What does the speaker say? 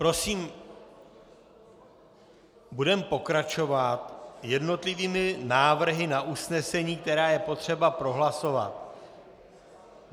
Prosím budeme pokračovat jednotlivými návrhy na usnesení, které je potřeba prohlasovat.